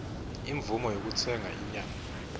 imvumo yekutsenga inyama